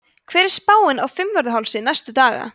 hver er spáin á fimmvörðuhálsi næstu daga